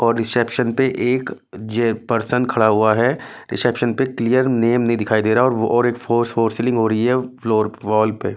और रिसेप्शन पे एक जे पर्सन खड़ा हुआ है रिसेप्शन पे क्लियर नेम नहीं दिखाई दे रहा और वो और एक फोर सीलिंग हो रही है फ्लोर वॉल पे--